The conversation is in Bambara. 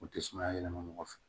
U tɛ sumaya yɛlɛma mɔgɔ fɛ